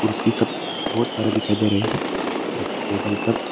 कुर्सी सब बहुत सारे दिखाई दे रहे हैं टेबल सब--